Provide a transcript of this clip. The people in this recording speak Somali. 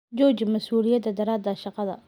Jooji masuuliyad-darrada shaqada.